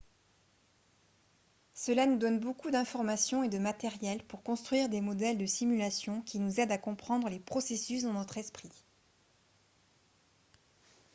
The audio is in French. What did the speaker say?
cela nous donne beaucoup d'informations et de matériel pour construire des modèles de simulation qui nous aident à comprendre les processus dans notre esprit